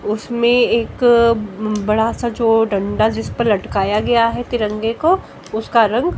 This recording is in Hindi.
उसमें एक बड़ा सा जो डंडा जिस पर लटकाया गया है तिरंगे को उसका रंग--